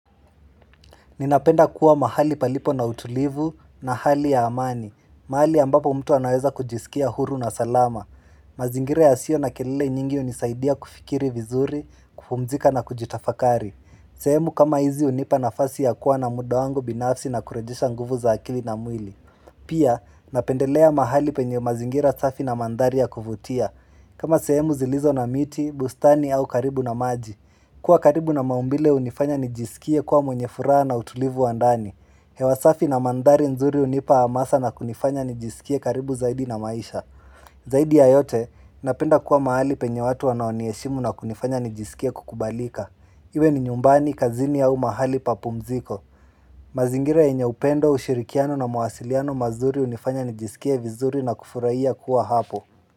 Ninapenda kuwa mahali palipo na utulivu na hali ya amani, mahali ambapo mtu anaweza kujisikia huru na salama. Mazingira yasio na kelele nyingi hunisaidia kufikiri vizuri, kufumzika na kujitafakari. Sehemu kama hizi hunipa nafasi ya kuwa na muda wangu binafsi na kurejesha nguvu za akili na mwili. Pia, napendelea mahali penye mazingira safi na mandhari ya kuvutia. Kama sehemu zilizo na miti, bustani au karibu na maji. Kuwa karibu na maumbile hunifanya nijisikie kuwa mwenye furaha na utulivu wa ndani. Hewa safi na mandhari nzuri hunipa hamasa na kunifanya nijisikie karibu zaidi na maisha. Zaidi ya yote napenda kuwa mahali penye watu wanaoniheshimu na kunifanya nijisikie kukubalika. Iwe ni nyumbani, kazini au mahali pa pumziko. Mazingira yenye upendo, ushirikiano na mawasiliano mazuri hunifanya nijisikie vizuri na kufurahia kuwa hapo.